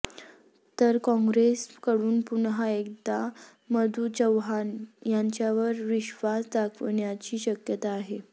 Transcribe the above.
तर काँग्रेसकडून पुन्हा एकदा मधू चव्हाण यांच्यावर विश्वास दाखविण्याची शक्यता आहे